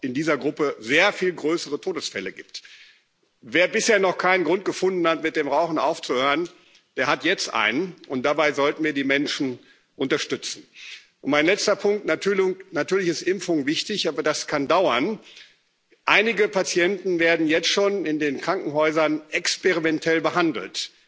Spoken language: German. es dadurch in dieser Gruppe auch sehr viel mehr Todesfälle gibt. Wer bisher noch keinen Grund gefunden hat, mit dem Rauchen aufzuhören, der hat jetzt einen, und dabei sollten wir die Menschen unterstützen. Mein letzter Punkt Natürlich ist Impfung wichtig, aber das kann dauern. Einige Patienten werden jetzt schon in den Krankenhäusern experimentell